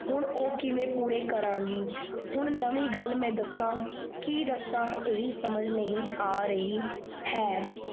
ਹੁਣ ਓਹ ਕਿਵੇ ਪੂਰੇ ਕਰਾਂਗੀ। ਹੁਣ ਨਵੀਂ ਗੱਲ ਮੈਂ ਦਸਾਂ ਕੀ ਦੱਸ ਏਹੀ ਸਮਜ ਨਹੀਂ ਆ ਰਹੀ ਹੈ।